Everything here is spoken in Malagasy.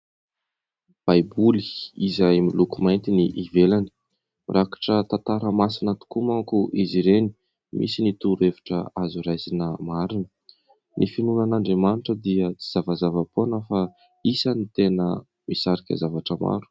Baiboly izay miloko mainty ny ivelany, mirakitra tantara masina tokoa manko izy ireny. Misy ny torohevitra azo raisina marina. Ny finoana an'Andriamanitra dia tsy zavazava-poana fa isany tena misarika zavatra maro.